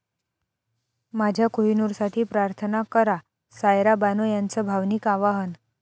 माझ्या कोहिनूरसाठी प्रार्थना करा, सायरा बानो यांचं भावनिक आवाहन